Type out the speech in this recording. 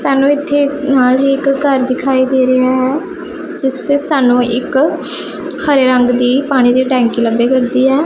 ਸਾਨੂੰ ਇਥੇ ਨਾਲ ਇਕ ਘਰ ਦਿਖਾਈ ਦੇ ਰਿਹਾ ਹੈ ਜਿਸ ਤੇ ਸਾਨੂੰ ਇੱਕ ਹਰੇ ਰੰਗ ਦੀ ਪਾਣੀ ਦੀ ਟੈਂਕੀ ਲੱਭੇ ਕਰਦੀ ਹੈ।